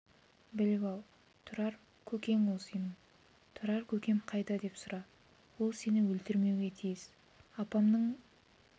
біліп ал тұрар көкең ол сенің тұрар көкем қайда деп сұра ол сені өлтірмеуге тиіс апамның